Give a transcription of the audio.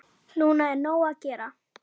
Núna er nóg að gera.